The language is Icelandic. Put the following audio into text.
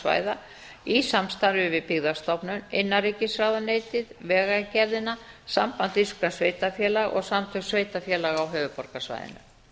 borgarsvæða í samstarfi bið byggðastofnun innanríkisráðuneytið vegagerðina samband íslenskra sveitarfélaga og samtök sveitarfélaga á höfuðborgarsvæðinu